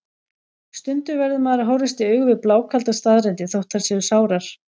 Stundum verður maður að horfast í augu við blákaldar staðreyndir, þótt þær séu sárar.